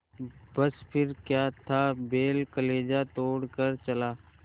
बस फिर क्या था बैल कलेजा तोड़ कर चला